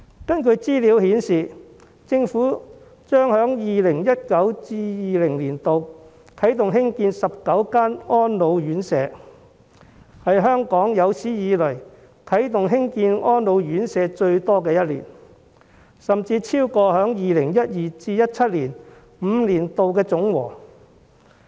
根據資料顯示，政府將在 2019-2020 年度啟動興建19間安老院舍，是香港有史以來啟動興建最多安老院舍的一年，數目甚至超過2012年至2017年5年的總和。